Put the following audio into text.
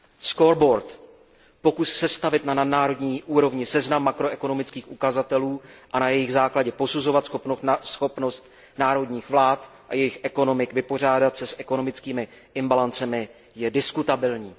Scoreboard pokus sestavit na nadnárodní úrovni seznam makroekonomických ukazatelů a na jejich základě posuzovat schopnost národních vlád a jejich ekonomik vypořádat se s ekonomickými imbalancemi, je diskutabilní.